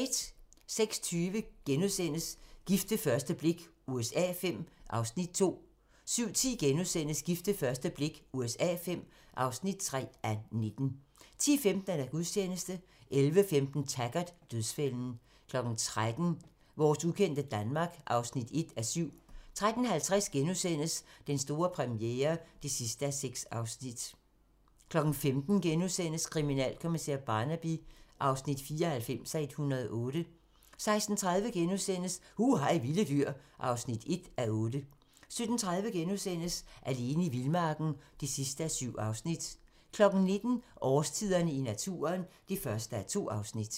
06:20: Gift ved første blik USA V (2:19)* 07:10: Gift ved første blik USA V (3:19)* 10:15: Gudstjeneste 11:15: Taggart: Dødsfælden 13:00: Vores ukendte Danmark (1:7) 13:50: Den store premiere (6:6)* 15:00: Kriminalkommissær Barnaby (94:108)* 16:30: Hu hej vilde dyr (1:8)* 17:30: Alene i vildmarken (7:7)* 19:00: Årstiderne i naturen (1:2)